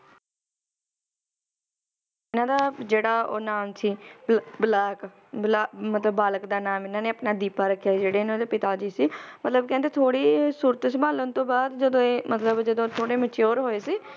ਇਹਨਾਂ ਦਾ ਜਿਹੜਾ ਉਹ ਨਾਮ ਸੀ ਬਲ~ ਬਲਾਕ ਬਲਾ~ ਮਤਲਬ ਬਾਲਕ ਦਾ ਨਾਮ ਇਹਨਾਂ ਨੇ ਆਪਣਾ ਦੀਪਾ ਰੱਖਿਆ ਸੀ ਜਿਹੜੇ ਇਹਨਾਂ ਦੇ ਪਿਤਾ ਜੀ ਸੀ ਮਤਲਬ ਕਹਿੰਦੇ ਥੋੜੀ ਸੁਰਤ ਸੰਭਾਲਣ ਤੋਂ ਬਾਅਦ ਜਦੋ ਇਹ ਮਤਲਬ ਜਦੋ ਥੋੜੇ mature ਹੋਏ ਸੀ,